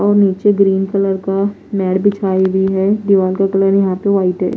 और नीचे green colour का मैट बिछाई हुई है दीवार का कलर यहां पे व्हाइट है।